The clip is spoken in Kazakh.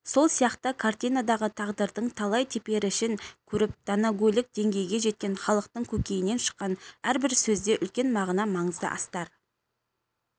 сол сияқты картинадағы тағдырдың талай теперішін көріп данагөйлік деңгейге жеткен халықтың көкейінен шыққан әрбір сөзде үлкен мағына маңызды астар